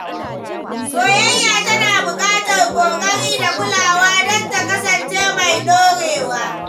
Soyayya tana buƙatar ƙoƙari da kulawa don ta kasance mai ɗorewa.